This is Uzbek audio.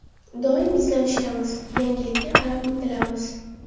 Doim izlanishdamiz, yangilikka qarab intilamiz.